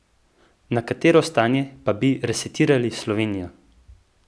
Na katero stanje pa bi resetirali Slovenijo?